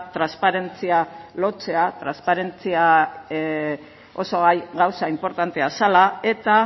transparentzia lortzea transparentzia oso gauza inportantea zela eta